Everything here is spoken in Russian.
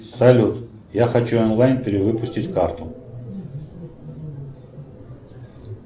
салют я хочу онлайн перевыпустить карту